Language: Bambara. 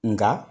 Nka